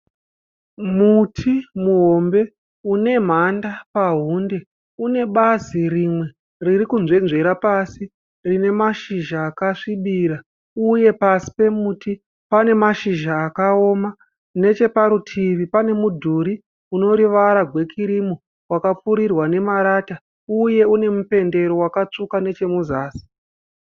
Muti muhombe une mhanda pahunde. Une bazi rimwe ririkunzvenzvera pasi rine mashizha akasvibira. Uye pasi pemuti pane mashizha akaoma . Necheparutivi pane mudhuri uneruvara gwe kirimu wakapfirirwa nemarata uye une mupendero wakatsvuka nechemuzasi.